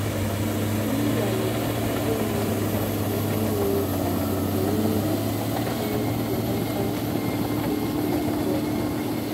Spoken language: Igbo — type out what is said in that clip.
M nwalere mkpụrụ ọhụrụ nke mere ka owuwe ihe ubi dị bee nata izu abụọ.